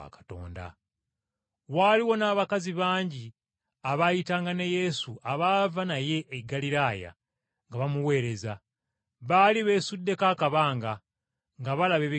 Waaliwo n’abakazi bangi abaayitanga ne Yesu abaava naye e Ggaliraaya nga bamuweereza, baali beesuddeko akabanga, nga balaba ebigenda mu maaso.